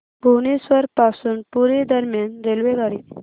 भुवनेश्वर पासून पुरी दरम्यान रेल्वेगाडी